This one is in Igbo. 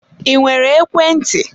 I nwere ekwe ntị?